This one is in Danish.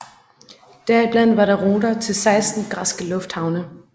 Deriblandt var der ruter til 16 græske lufthavne